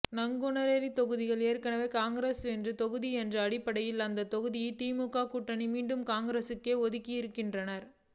நாங்குனேரி தொகுதி ஏற்கனவே காங்கிரஸ் வென்ற தொகுதி என்ற அடிப்படையில் அந்தத் தொகுதியை திமுக கூட்டணியில் மீண்டும் காங்கிரஸுக்கே ஒதுக்கியிருக்கிறார்கள்